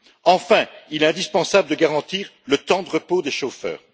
Enfin, il est indispensable de garantir le temps de repos des chauffeurs.